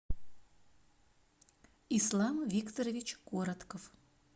ислам викторович коротков